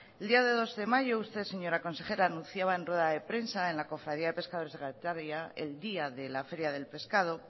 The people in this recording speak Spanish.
el día dos de mayo usted señora consejera anunciaba en rueda de prensa en la cofradía de pescadores de getaria el día de la feria del pescado